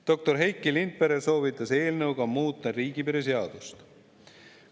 Doktor Heiki Lindpere soovitas eelnõuga muuta riigipiiri seadust.